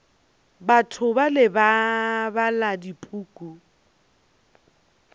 batho bale ba bala dipuku